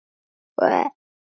Við hlógum bæði.